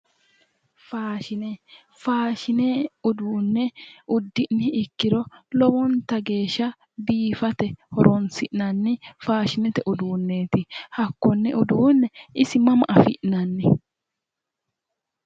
Faashine faashine uduune uddini ikkiro lowonitanni biifate horonisi'nanni faashinete uduuneeti hakkone uduune isi mama afi'nani?